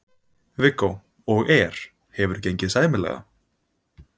Viggó: Og er, hefur gengið sæmilega?